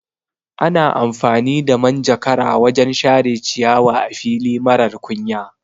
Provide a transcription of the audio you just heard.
Ana amfani da manjakara wajan share ciyawa a fili marar kunya